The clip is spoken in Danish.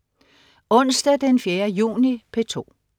Onsdag den 4. juni - P2: